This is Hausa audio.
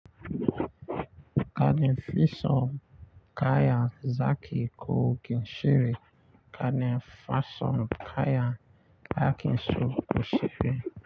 Gane Fisom kaya Zaki kogin shiri, gane Fasom kaya Akinsu kushiri.